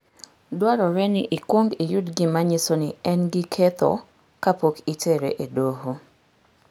Dwarore ni ikwong iyud gima nyiso ni en gi ketho kapok itere e doho.